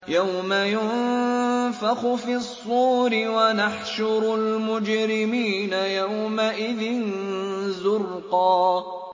يَوْمَ يُنفَخُ فِي الصُّورِ ۚ وَنَحْشُرُ الْمُجْرِمِينَ يَوْمَئِذٍ زُرْقًا